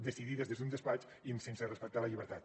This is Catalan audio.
decidides des d’un despatx i sense respectar la llibertat